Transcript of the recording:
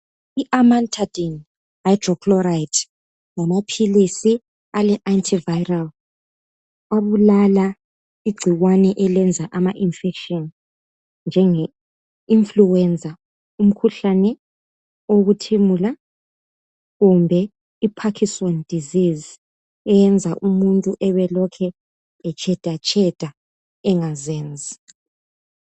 I Amantadine hydrochloride ngamaphilisi ale antiviral abulala igcikwane elenza ama infection njenge influenza umkhuhlane wokuthimula kumbe i Parkinson disease eyenza umuntu abe elokhe etshedatsheda engazenzi.